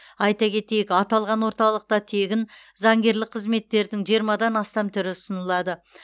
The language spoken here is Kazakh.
айта кетейік аталған орталықта тегін заңгерлік қызметтердің жиырмадан астам түрі ұсынылады